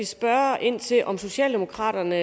spørge ind til om socialdemokraterne